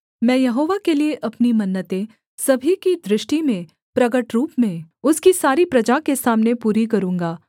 मैं यहोवा के लिये अपनी मन्नतें सभी की दृष्टि में प्रगट रूप में उसकी सारी प्रजा के सामने पूरी करूँगा